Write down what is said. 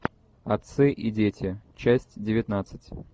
отцы и дети часть девятнадцать